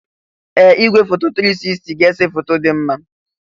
Ee! Igwefoto 360 ga-ese foto dị mma.